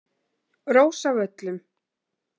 Rósavöllum